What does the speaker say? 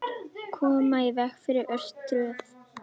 Koma í veg fyrir örtröð.